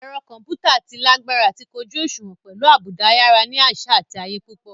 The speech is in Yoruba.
Ẹ̀rọ kọ̀ḿpútà tí lágbára àti kójú òṣùwọ̀n pẹ̀lú àbùdá ayára ní àṣà àti ayé púpọ̀